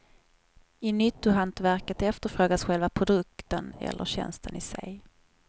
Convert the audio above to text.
I nyttohantverket efterfrågas själva produkten eller tjänsten i sig.